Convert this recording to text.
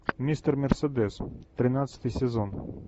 мистер мерседес тринадцатый сезон